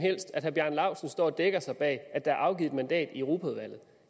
helst at herre bjarne laustsen står og dækker sig ind bag at der er afgivet et mandat i europaudvalget